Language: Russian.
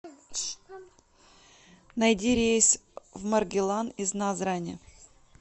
найди рейс в маргилан из назрани